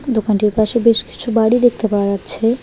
দোকানটির পাশে বেশ কিছু বাড়ি দেখতে পাওয়া যাচ্ছে।